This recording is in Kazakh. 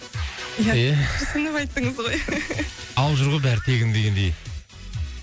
ия күрсініп айттыңыз ғой алып жүр ғой бәрі тегін дегендей